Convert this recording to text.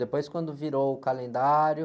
Depois, quando virou o calendário...